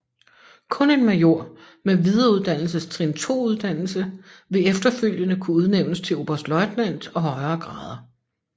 Kun en major med Videreuddannelsestrin II uddannelse vil efterfølgende kunne udnævnes til oberstløjtnant og højere grader